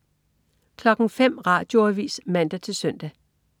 05.00 Radioavis (man-søn)